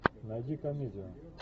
найди комедию